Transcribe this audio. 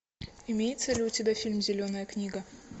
имеется ли у тебя фильм зеленая книга